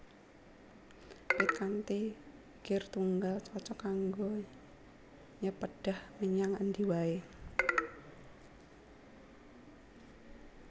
Pit kanthi gir tunggal cocog kanggo nyepédhah menyang endi waé